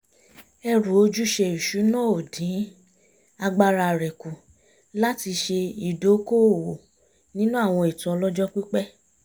ẹrù ojúṣe ìṣúná ò dín agbára rẹ̀ kù láti ṣe ìdókóòwò nínú àwọn ètò ọlọ́jọ́ pípẹ́